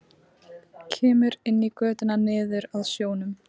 Kemur inn í götuna niður að sjónum.